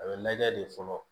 A bɛ lajɛ de fɔlɔ